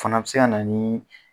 Fana bɛ se ka na ni